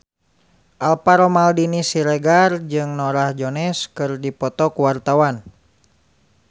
Alvaro Maldini Siregar jeung Norah Jones keur dipoto ku wartawan